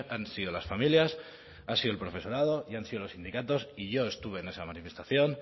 han sido las familias ha sido el profesorado y han sido los sindicatos y yo estuve en esa manifestación